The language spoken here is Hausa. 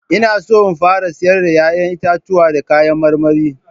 Ina so in fara sayar da 'ya'yan itatuwa da kayan marmari.